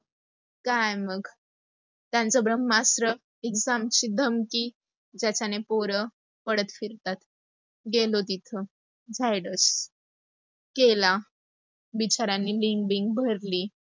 काय मग, त्यांच ब्रम्हस्त्र exam ची धमकी त्याचे पोर पडत फिरतात. गेलो तिथ धाडस केला, बेचाऱ्यांनी link बिंक भरली